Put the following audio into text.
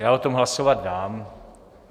Já o tom hlasovat dám.